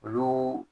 Olu